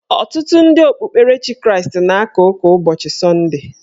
Ọtụtụ ndị okpukperechi Kraịst na-aka ụka ụbọchị sọnde.